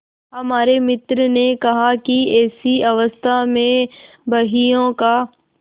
हमारे मित्र ने कहा कि ऐसी अवस्था में बहियों का